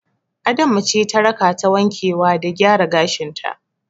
Adama ce ta rakata wankewa da gyara gashin ta.